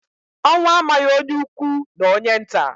Ọnwụ amaghị onye ukwu na onye nta